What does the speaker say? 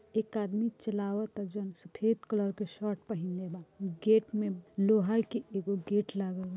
एक आदमी चलावत जो सफेद कलर के शर्ट पहनले बा गेट मे लोहाई की एक गेट लागल बा।